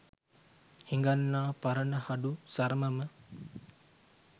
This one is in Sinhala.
හිඟන්නා පරණ හඩු සරම ම